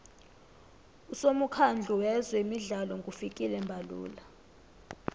usomukhandlu weze midlalo ngufikile mbalula